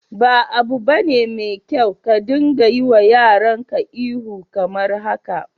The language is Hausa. Ba 'abu bane mai kyau ka dinga yiwa yaran ka ihu kamar haka.